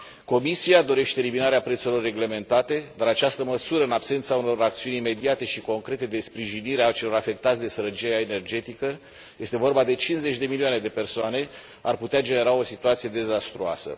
Comisia dorește eliminarea prețurilor reglementate, dar această măsură, în absența unor acțiuni imediate și concrete de sprijinire a celor afectați de sărăcia energetică, este vorba de 50 de milioane de persoane, ar putea genera o situație dezastruoasă.